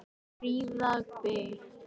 Fríða byggð.